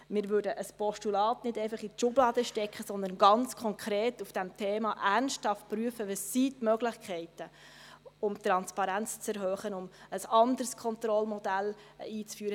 Wir würden ein Postulat nicht einfach in die Schublade stecken, sondern ganz konkret zu diesem Thema ernsthaft prüfen, welches die Möglichkeiten sind, um die Transparenz zu erhöhen und ein anderes Kontrollmodell einzuführen.